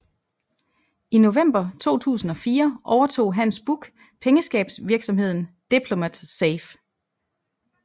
I november 2004 overtog Hans Buch pengeskabsvirksomheden Diplomat Safe